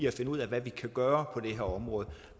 at finde ud af hvad vi kan gøre på det her område